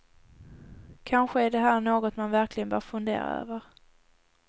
Kanske är det här något man verkligen bör fundera över.